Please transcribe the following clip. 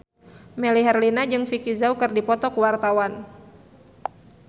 Melly Herlina jeung Vicki Zao keur dipoto ku wartawan